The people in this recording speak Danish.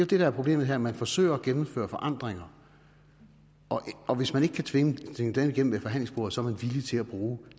det der er problemet her man forsøger at gennemføre forandringer og hvis man ikke kan tvinge tingene igennem ved forhandlingsbordet er man villig til at bruge